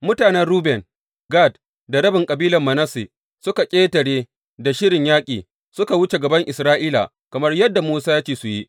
Mutanen Ruben, Gad da rabin kabilar Manasse suka ƙetare da shirin yaƙi, suka wuce gaban Isra’ila kamar yadda Musa ya ce su yi.